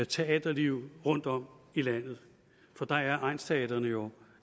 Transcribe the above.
teaterliv rundtom i landet for der er egnsteatrene jo